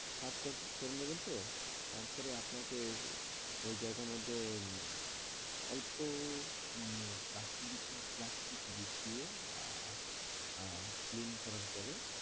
সাফ কর করে নেবেন তো তারপরে আপনকে ও ওই জায়গার মধ্যে এর অল্প মানে প্লাস্টিক দিতে হবে, প্লাস্টিক বিছিয়ে আহ আহ clean করার পরে,